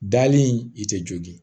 Dalen i tɛ jogi